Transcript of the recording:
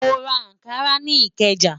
Mo ra Ànkarà ni Ikeja.